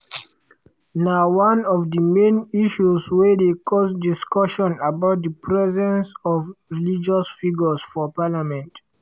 na one of di main issues wey dey cause discussion about di presence of religious figures for parliament.